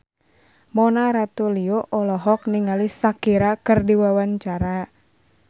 Mona Ratuliu olohok ningali Shakira keur diwawancara